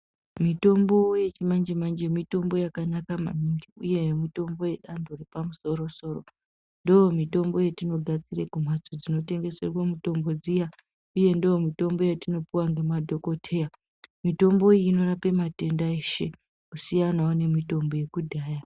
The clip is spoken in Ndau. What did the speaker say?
Mitombo yechimanje manje mitombo yakanaka maningi uye mitombo yeantu epamusoro soro ndomitombo yatinogadzira kumhatso dzinotengeswerwe mitombo dziya uye ndiyo mitombo yatinopiwa ngemadhokoteya mitombo iyi inorapa matenda eshe kusiyanawo itombo